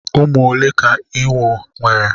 Ụmụ ole ka ewu nwere?